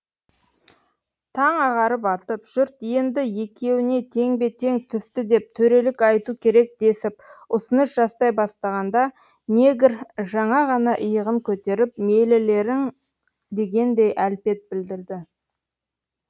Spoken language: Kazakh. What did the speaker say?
таң ағарып атып жұрт енді екеуіне теңбе тең түсті деп төрелік айту керек десіп ұсыныс жасай бастағанда негр жаңа ғана иығын көтеріп мейлілерің дегендей әлпет білдірді